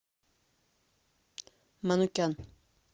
манукян